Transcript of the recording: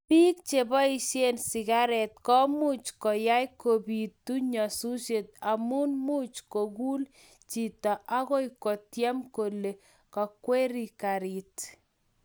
biik cheboishe sigaret komuch koyay kobiitu nyasusiet amu much koguul chito agoi koutyen kole kakwerie karit